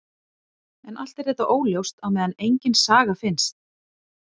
En allt er þetta óljóst á meðan engin saga finnst.